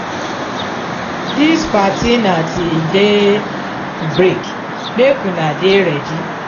dis party na till day break make una dey ready.